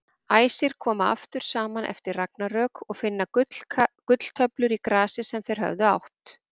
Æsir koma aftur saman eftir ragnarök og finna gulltöflur í grasi sem þeir höfðu átt.